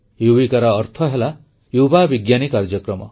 ୟୁବିକାର ଅର୍ଥ ହେଲା ଯୁବା ବିଜ୍ଞାନୀ କାର୍ଯ୍ୟକ୍ରମ